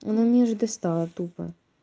она меня уже достала тупо